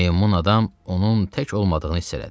Meymun adam onun tək olmadığını hiss elədi.